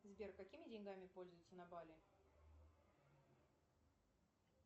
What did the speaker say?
сбер какими деньгами пользуются на бали